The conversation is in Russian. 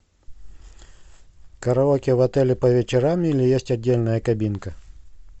караоке в отеле по вечерам или есть отдельная кабинка